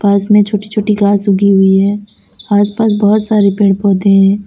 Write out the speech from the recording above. पास में छोटी छोटी कर घास उगी हुई है आसपास बहुत सारे पेड़ पौधे हैं।